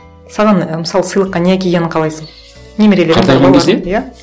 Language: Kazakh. саған і мысалы сыйлыққа не әкелгенін қайласың немерелерден иә